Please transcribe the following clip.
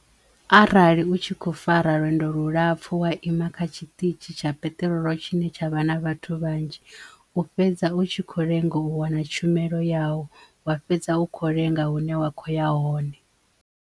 Arali u tshi kho fara lwendo lulapfu wa ima kha tshiṱitzhi tsha peṱirolo tshine tshavha na vhathu vhanzhi u fhedza u tshi kho lenga u wana tshumelo yau wa fhedza u kho lenga hune wa kho ya hone.